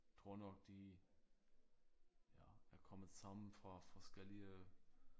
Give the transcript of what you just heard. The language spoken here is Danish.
Tror nok de ja er kommet sammen fra forskellige